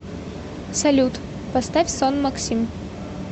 салют поставь сон максим